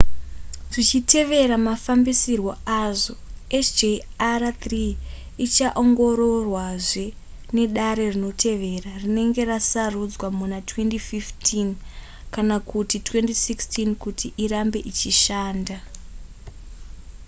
zvichitevera mafambisirwo azvo hjr-3 ichaongororwazve nedare rinotevera rinenge rasarudzwa muna 2015 kana kuti 2016 kuti irambe ichishanda